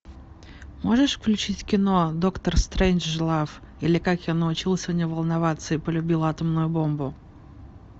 можешь включить кино доктор стрейнджлав или как я научился не волноваться и полюбил атомную бомбу